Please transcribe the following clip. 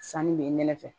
Sanni bɛ nɛnɛfɛ